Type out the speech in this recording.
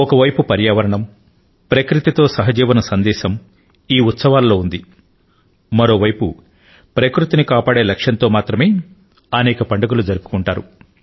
ఒక వైపు న పర్యావరణం తో ప్రకృతి తో సహవాసం చేయాలనే సందేశం మన మన పండుగలలో దాగి ఉంది మరో వైపు న సరిగ్గా ప్రకృతిని కాపాడే లక్ష్యంతో అనేక పండుగలను జరుపుకుంటారు